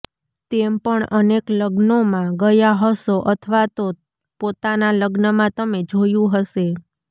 તેમ પણ અનેક લગ્નોમાં ગયા હશો અથવા તો પોતાના લગ્નમાં તમે જોયું હશે